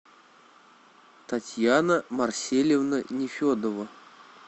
татьяна марсельевна нефедова